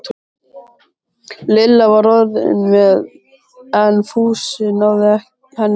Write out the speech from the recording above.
Lilla var orðin móð en Fúsi náði henni ekki.